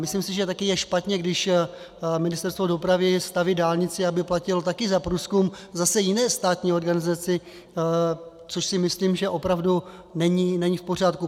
Myslím si, že také je špatně, když Ministerstvo dopravy staví dálnici, aby platilo také za průzkum zase jiné státní organizaci, to si myslím, že opravdu není v pořádku.